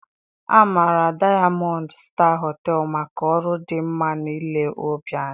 A maara Dayamọnd Staa Họtelụ maka ọrụ dị mma na ile ọbịa ya